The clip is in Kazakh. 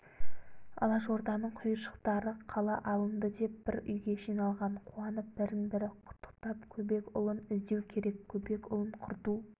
алашорданың құйыршықтары қала алынды деп бір үйге жиналған қуанып бірін-бірі құттықтап көбекұлын іздеу керек көбекұлын құрту